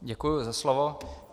Děkuji za slovo.